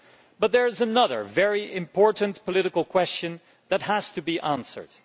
But there is another very important political question that has to be answered.